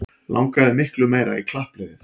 Langaði miklu meira í klappliðið